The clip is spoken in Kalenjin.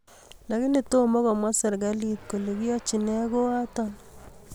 Lakini toma komwaa serikali kole kiachin nee koato